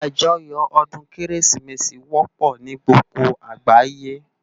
Ájòyò òdún Kérésimési wòpò ni gbógbó àgbáyé